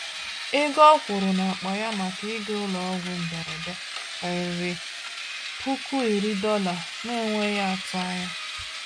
Ego ọ kwụrụ n’akpa ya maka ịga ụlọọgwụ mberede karịrị $10,000 n’enweghị atụ anya.